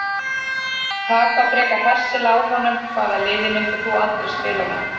Taka frekar hressilega á honum Hvaða liði myndir þú aldrei spila með?